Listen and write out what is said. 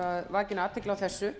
vakin athygli á þessu